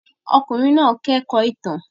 Ọkùnrin náà kẹ́kọ̀ọ́ ìtàn.